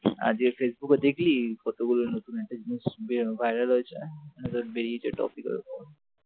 আজকে ফেসবুকে দেখলি কতগুলো নতুন নতুন জিনিস viral হয়েছে বেরিয়েছে topic র উপর,